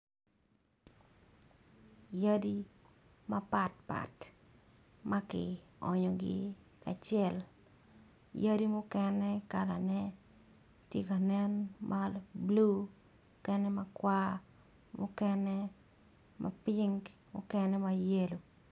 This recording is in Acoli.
Yadi mapatpat ma ki onyogi kacel yadi mukene kalane tye ti ka nen ma bulu mukene makwar, mukene ma ping, mukene ma yelo.